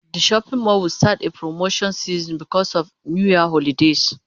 The shopping mall will start a promotion season because of New Year holidays